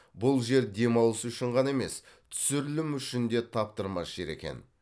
бұл жер демалыс үшін ғана емес түсірілім үшін де таптырмас жер екен